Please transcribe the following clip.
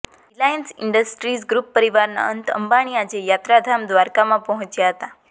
Reliance Industries group પરીવારના અનંત અબાણી આજે યાત્રાધામ દ્વારકામાં પહોંચ્યા હતા